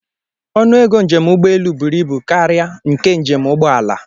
Ọnụego njem ụgbọelu bụrụ ibu karịa nke njem ụgbọala